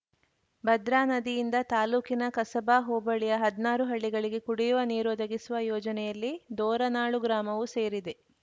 ಭದ್ರಾ ನದಿಯಿಂದ ತಾಲೂಕಿನ ಕಸಬಾ ಹೋಬಳಿಯ ಹದ್ನಾರು ಹಳ್ಳಿಗಳಿಗೆ ಕುಡಿಯುವ ನೀರು ಒದಗಿಸುವ ಯೋಜನೆಯಲ್ಲಿ ದೋರನಾಳು ಗ್ರಾಮವೂ ಸೇರಿದೆ